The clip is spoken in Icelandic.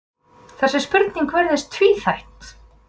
Þessi spurning virðist tvíþætt.